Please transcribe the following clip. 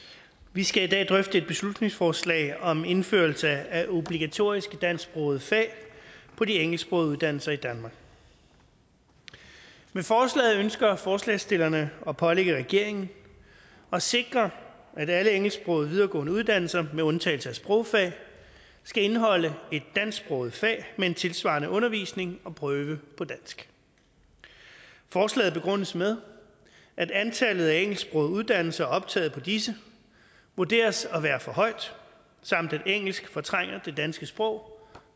vi skal i dag drøfte et beslutningsforslag om indførelse af obligatoriske dansksprogede fag på de engelsksprogede uddannelser i danmark med forslaget ønsker forslagsstillerne at pålægge regeringen at sikre at alle engelsksprogede videregående uddannelser med undtagelse af sprogfag skal indeholde et dansksproget fag med en tilsvarende undervisning og prøve på dansk forslaget begrundes med at antallet af engelsksprogede uddannelser og optaget på disse vurderes at være for højt samt at engelsk fortrænger det danske sprog